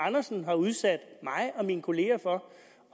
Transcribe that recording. argumentere for